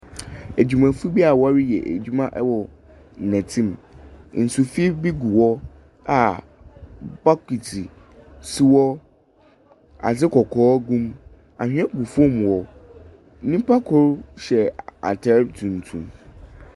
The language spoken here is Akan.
Adwumayɛfo bia ɔreyɛ adwuma wɔ nɔte mu. Nsu finn bi hɔ a bokiti si hɔ. Adze kɔkɔɔ gu mu. Anwea gu fam hɔ. Nnipa koro hyɛ ataade tuntum.